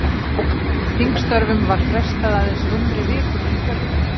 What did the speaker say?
Þingstörfum var frestað aðeins rúmri viku fyrir kjördag.